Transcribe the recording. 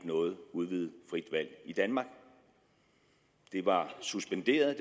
noget udvidet frit valg i danmark det var suspenderet